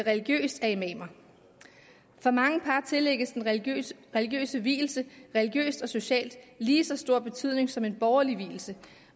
religiøst af imamer for mange par tillægges den religiøse religiøse vielse religiøst og socialt lige så stor betydning som en borgerlig vielse